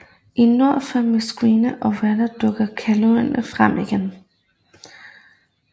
I nord på Mykines og Vágar dukker kullagene frem igen